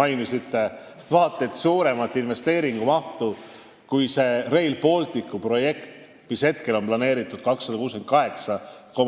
Te mainisite vaat et suuremat investeeringut, kui on Rail Balticu projekt, milleks hetkel on planeeritud 268,5